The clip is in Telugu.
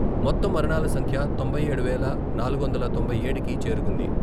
మొత్తం మరణాల సంఖ్య తొంభై ఏడు వేల నాలుగు వందల తొంభై ఏడుకి చేరుకుంది.